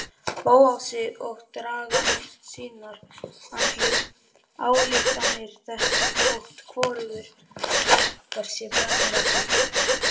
Bóasi og draga sínar ályktanir þótt hvorugur okkar sé brennuvargur.